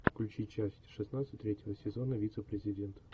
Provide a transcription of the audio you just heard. включи часть шестнадцать третьего сезона вице президент